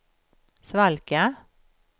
svalka